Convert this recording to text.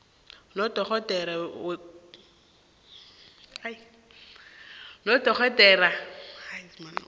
nodorhodere karhulumende wephrovinsi